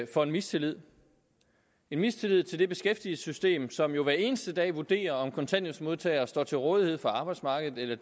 for mistillid en mistillid til det beskæftigelsessystem som hver eneste dag vurderer om kontanthjælpsmodtagere står til rådighed for arbejdsmarkedet eller